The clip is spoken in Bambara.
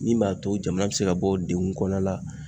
Min m'a to jamana bɛ se ka bɔ degun kɔnɔna la.